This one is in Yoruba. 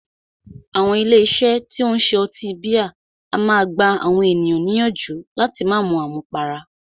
Àwọn ilé iṣé tí o ń ṣe ọtí bíà a máà gbà àwọn ènìyàn níyànjú láti má mú àmúpará.